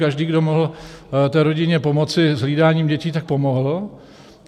Každý, kdo mohl té rodině pomoci s hlídáním dětí, tak pomohl.